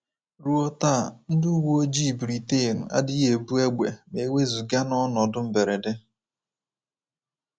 Ruo taa, ndị uwe ojii Britain adịghị ebu égbè ma e wezụga n’ọnọdụ mberede.